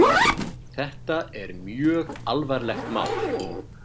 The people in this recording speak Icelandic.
Þetta er mjög alvarlegt mál.